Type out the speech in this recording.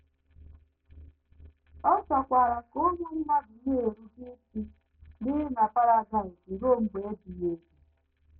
Ọ chọkwara ka ụmụ mmadụ na - erube isi biri na Paradaịs ruo mgbe ebighị ebi.